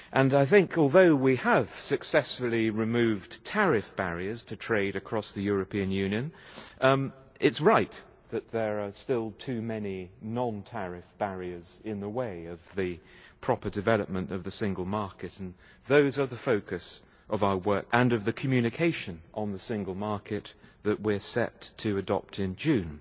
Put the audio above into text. I think although we have successfully removed tariff barriers to trade across the European Union, it's right that there are still too many non-tariff barriers in the way of the proper development of the single market, and those are the focus of our work today and of the communication on the single market that we are set to adopt in June.